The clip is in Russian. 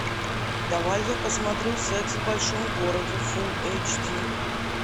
давай я посмотрю секс в большом городе фул эйч ди